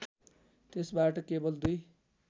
त्यसबाट केवल दुई